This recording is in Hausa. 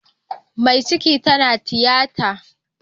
Mai ciki tana tiyata